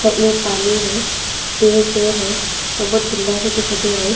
में पानी है पेड़ पेड़ है और बहुत गंदा सा दिखाई दे रहा है।